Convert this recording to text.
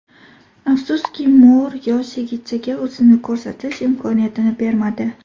Afsuski, Mour yosh yigitchaga o‘zini ko‘rsatish imkoniyatini bermadi.